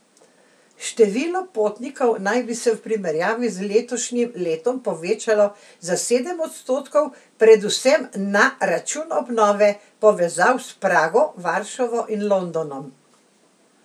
Število potnikov naj bi se v primerjavi z letošnjim letom povečalo za sedem odstotkov, predvsem na račun obnove povezav s Prago, Varšavo in Londonom.